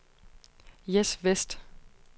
Jess Westh